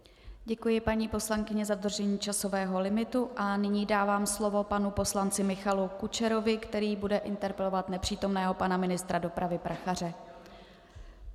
Děkuji paní poslankyně za dodržení časového limitu a nyní dávám slovo panu poslanci Michalu Kučerovi, který bude interpelovat nepřítomného pana ministra dopravy Prachaře.